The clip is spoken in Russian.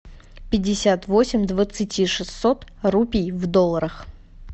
пятьдесят восемь двадцати шестьсот рупий в долларах